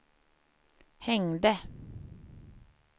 hängde